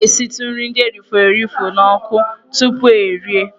A na-esitụ nri ndị e rifọrọ erifọ n'ọkụ tupu erie.